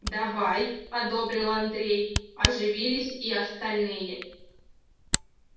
давай одобрил андрей оживились и остальные